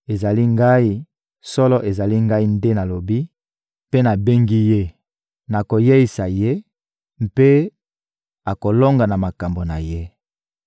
Ezali Ngai, solo ezali Ngai nde nalobi mpe nabengi ye; nakoyeisa ye, mpe akolonga na makambo na ye.